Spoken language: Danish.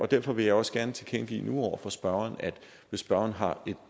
derfor vil jeg også gerne tilkendegive over for spørgeren nu at hvis spørgeren har et